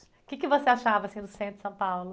O que você achava, assim, do centro de São Paulo?